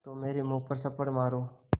तो मेरे मुँह पर थप्पड़ मारो